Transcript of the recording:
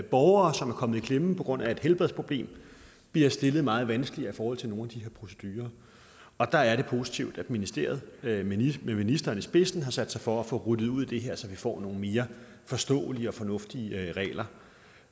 borgere som er kommet i klemme på grund af et helbredsproblem bliver stillet meget vanskeligt i forhold til nogle af de her procedurer og der er det positivt at ministeriet med ministeren i spidsen har sat sig for at få ryddet ud i det her så får nogle mere forståelige og fornuftige regler